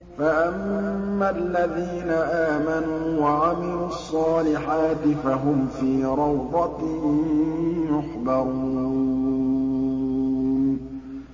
فَأَمَّا الَّذِينَ آمَنُوا وَعَمِلُوا الصَّالِحَاتِ فَهُمْ فِي رَوْضَةٍ يُحْبَرُونَ